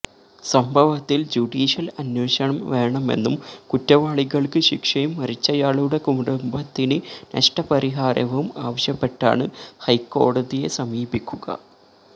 സംഭവത്തിൽ ജുഡീഷ്യൽ അന്വേഷണം വേണമെന്നും കുറ്റവാളികൾക്ക് ശിക്ഷയും മരിച്ചയാളുടെ കുടുംബത്തിന് നഷ്ടപരിഹാരവും ആവശ്യപ്പെട്ടാണ് ഹൈക്കോടതിയെ സമീപിക്കുക